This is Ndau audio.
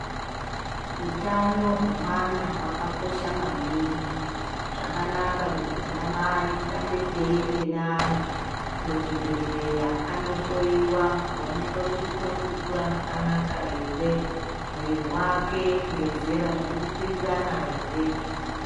Utano hwemwana hwakakosha maningi . Zvakanaka kuti anamai tirambe teiende neana, kuzvibhedhleya andohloiwa kuonekwe kuti uri kukura zvakanaka ere ,mwiri wake ngezera, zviri kupindirana ere.